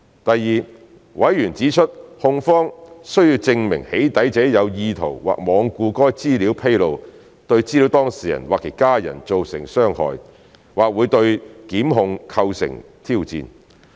第二，委員指出控方需證明"起底"者有意圖或罔顧該資料披露對資料當事人或其家人造成傷害，或會對檢控構成挑戰。